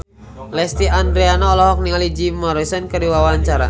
Lesti Andryani olohok ningali Jim Morrison keur diwawancara